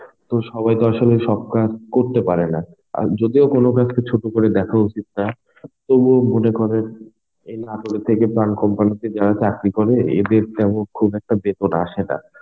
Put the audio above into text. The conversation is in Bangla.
তো সবাই তো আসলে সব কাজ করতে পারে না. আর যদিও কোন কাজকে ছোট করে দেখা উচিত না. তবুও মনে করেন এই নাটোরে থেকে প্রাণ company তে যারা চাকরি করে এদের তেমন খুব একটা বেতন আসে না.